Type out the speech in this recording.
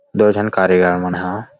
दो झन कारीगार मन ह।